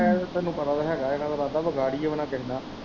ਐ ਤੇ ਤੈਨੂੰ ਪਤਾ ਤੇ ਹੈਗਾ ਇਨ੍ਹਾਂ ਦਾ ਇਰਾਦਾ ਵਿਗਾੜੀਏ ਵੀ ਨਾ ਕਿਹੇ ਨਾਲ